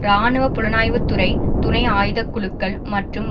இராணுவ புலனாய்வு துறை துணை ஆயுதக்குழுக்கள் மற்றும்